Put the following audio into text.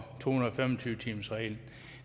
to hundrede og fem og tyve timersreglen